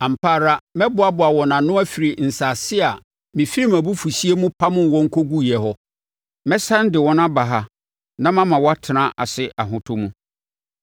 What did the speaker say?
Ampa ara mɛboaboa wɔn ano afiri nsase a mefiri mʼabufuhyeɛ mu pamoo wɔn kɔguiɛ hɔ; mɛsane de wɔn aba ha na mama wɔatena ase ahotɔ mu.